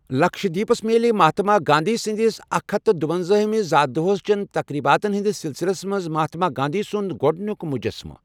لکشدیپس میلہِ مہاتما گاندھی سندِس اکھَ ہتھ دُۄنزوِمِس زَا دوہ چین تتقریباتن ہندِس سلسلس منز مہاتما گاندھی سٗٗند گوڈنِیوٗك مجسمہ ۔